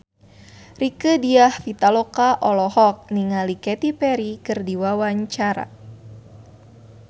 Rieke Diah Pitaloka olohok ningali Katy Perry keur diwawancara